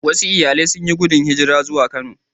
Wasu iyalai sun yi gudun hijira zuwa Kano